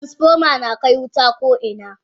Transfoma nakai wuta ko ina.